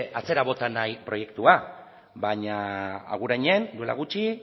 atzera bota nahi proiektua baina agurainen duela gutxi